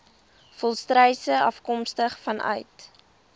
volstruise afkomstig vanuit